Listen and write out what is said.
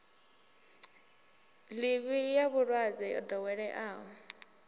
ḽivi ya vhulwadze yo ḓoweleaho